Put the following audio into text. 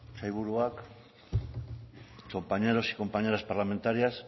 sailburuak compañeros y compañeras parlamentarias